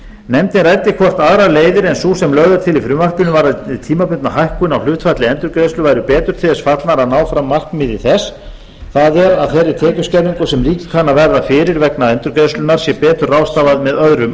nefndin ræddi hvort aðrar leiðir en sú sem lögð er til í frumvarpinu varðandi tímabundna hækkun á hlutfalli endurgreiðslu væru betur til þess fallnar að ná fram markmiði þess það er að þeirri tekjuskerðingu sem ríkið kann að verða fyrir vegna endurgreiðslunnar sé betur ráðstafað með öðrum